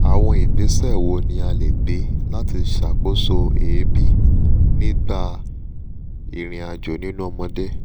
àwọn ìgbésẹ̀ wo ni a lè gbé láti ṣàkóso eebi nígbà ìrìn-àjò nínú ọmọdé?